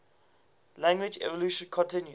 language evolution continues